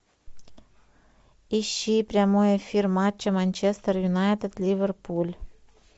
ищи прямой эфир матча манчестер юнайтед ливерпуль